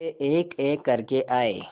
वे एकएक करके आए